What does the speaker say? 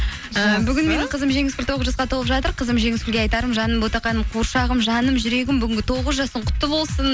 қызым жеңіскүл тоғыз жасқа толып жатыр қызым жеңіскүлге айтарым жаным ботақаным қуыршағым жаным жүрегім бүгін тоғыз жасың құтты болсын